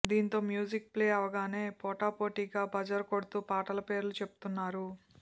దీంతో music play అవగానే పోటాపోటీగా బజర్ కొడుతూ పాటల పేర్లు చెప్తున్నారు